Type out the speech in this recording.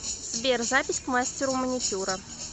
сбер запись к мастеру маникюра